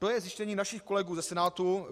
To je zjištění našich kolegů ze Senátu.